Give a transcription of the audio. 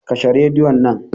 Kashe radion nan.